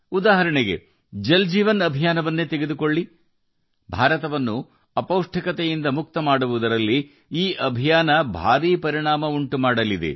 ಉದಾಹರಣೆಗೆ ಜಲ ಜೀವನ್ ಮಿಷನ್ ಅನ್ನು ತೆಗೆದುಕೊಳ್ಳಿ ಭಾರತವನ್ನು ಅಪೌಷ್ಟಿಕತೆಯಿಂದ ಮುಕ್ತಗೊಳಿಸುವಲ್ಲಿ ಈ ಮಿಷನ್ ಕೂಡ ದೊಡ್ಡ ಪರಿಣಾಮವನ್ನು ಬೀರಲಿದೆ